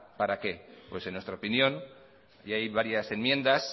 para qué pues en nuestra opinión y hay varias enmiendas